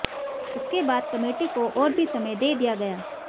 इसके बाद कमेटी को और भी समय दे दिया गया